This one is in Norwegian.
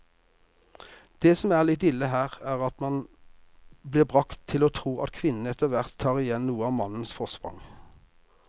Det som er litt ille her, er at man blir bragt til å tro at kvinnene etterhvert tar igjen noe av mannens forsprang.